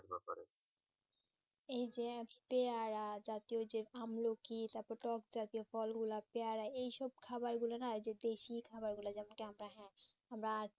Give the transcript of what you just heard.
এই যে একটি র আজ টেকি ওই যে সামনে কি কি তারপরতো দশটাতে ফলনা পেয়ারাগুলো এইসব খাবার একদম দেশীয় খাবার যেমন কি আমরা হ্যাঁ